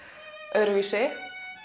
öðruvísi